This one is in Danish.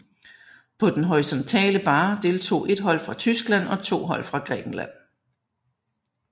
På den horisontale barre deltog ét hold fra Tyskland og to hold fra Grækenland